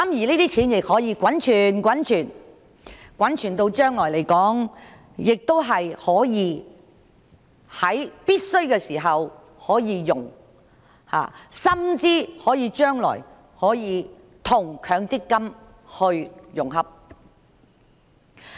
這些錢可以一直滾存，將來有必要時便可以使用，甚或將來可以與強積金合併。